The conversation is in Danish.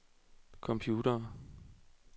computere